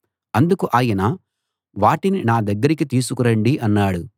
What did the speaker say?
అందుకు ఆయన వాటిని నా దగ్గరికి తీసుకు రండి అన్నాడు